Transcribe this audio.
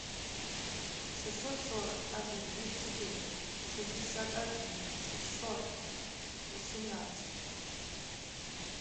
шестьсот сорок один двести четыре шестьдесят один шестьсот восемнадцать